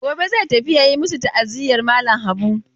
Gobe zai tafi ya yi masu ta'aziyar malam Habu.